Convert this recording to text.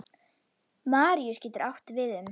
Maríus getur átt við um